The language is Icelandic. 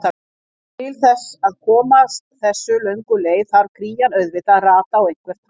Til þess að komast þessu löngu leið þarf krían auðvitað að rata á einhvern hátt.